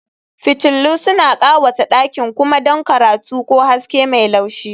Fitillu suna ƙawata ɗakin kuma don karatu ko haske mai laushi